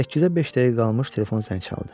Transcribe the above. Səkkizə beş dəqiqə qalmış telefon zəng çaldı.